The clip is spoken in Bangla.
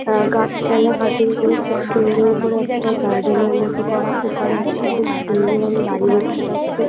উম গাছপালা কাটিং করে খুব সুন্দর করে একটা গার্ডেন এর মতো করা। ওপারে একটা খুব সুন্দর আমি বাড়ি দেখতে পাচ্ছি।